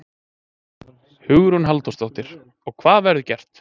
Hugrún Halldórsdóttir: Og hvað verður gert?